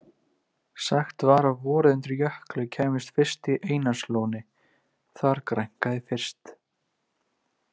Sagt var að vorið undir Jökli kæmi fyrst í Einarslóni- þar grænkaði fyrst.